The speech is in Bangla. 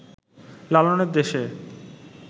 লালনের দেশে